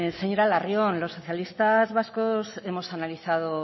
señora larrion los socialistas vascos hemos analizado